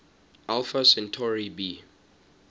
alpha centauri b